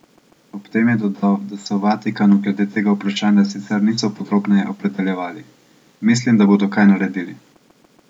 Ob tem je dodal, da se v Vatikanu glede tega vprašanja sicer niso podrobneje opredeljevali: "Mislim, da bodo kaj naredili.